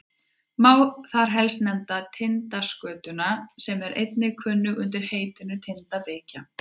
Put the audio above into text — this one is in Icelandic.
má þar helst nefna tindaskötuna sem einnig er kunn undir heitinu tindabikkja